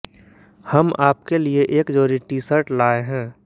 हम आपके लिए एक जोड़ी टीशर्ट लाए हैं